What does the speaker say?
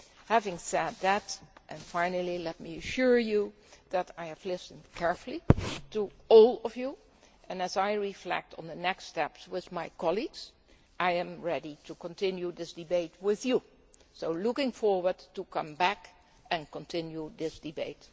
Having said that, finally let me assure you that I have listened carefully to all of you, and as I reflect on the next steps with my colleagues, I am ready to continue this debate with you, so I am looking forward to coming back and continuing this debate.